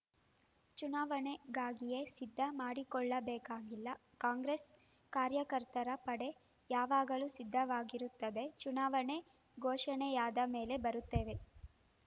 ಚುನಾವಣೆಗಾಗಿಯೇ ಸಿದ್ಧ ಮಾಡಿಕೊಳ್ಳಬೇಕಾಗಿಲ್ಲ ಕಾಂಗ್ರೆಸ್‌ ಕಾರ್ಯಕರ್ತರ ಪಡೆ ಯಾವಾಗಲೂ ಸಿದ್ಧವಾಗಿರುತ್ತದೆ ಚುನಾವಣೆ ಘೋಷಣೆಯಾದ ಮೇಲೆ ಬರುತ್ತೇವೆ